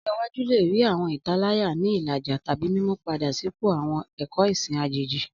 Ọjọ iwaju le rii awọn italaya ni ilaja tabi mimu-pada sipo awọn ẹkọ ẹsin ajeji.